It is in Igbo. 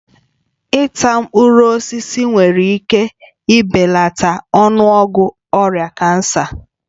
Ịta mkpụrụ osisi nwere ike ibelata ọnụọgụ ọrịa kansa